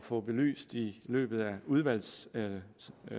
få belyst i løbet af udvalgsbehandlingen